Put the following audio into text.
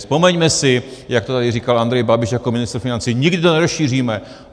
Vzpomeňme si, jak to tady říkal Andrej Babiš jako ministr financí: nikdy to nerozšíříme!